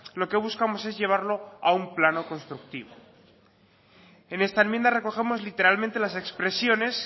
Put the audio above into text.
lo que buscamos es llevarlo a un plano constructivo en esta enmienda recogemos literalmente las expresiones